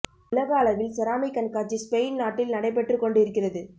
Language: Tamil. உலக அளவில் செராமிக் கண்காட்சி ஸ்பெயின் நாட்டில் நடைபெற்றுக் கொண்டு இருக்கிறது